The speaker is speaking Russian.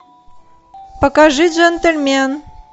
покажи джентльмен